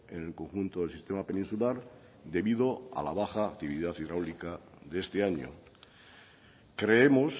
el conjunto del sistema peninsular debido a la baja actividad hidráulica de este año creemos